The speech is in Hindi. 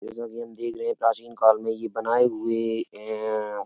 जैसा कि हम देख रहे है प्राचीन काल में ये बनाये हुए हैं।